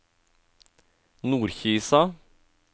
Nordkisa